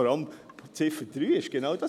Vor allem bei Ziffer 3 ist es genau das: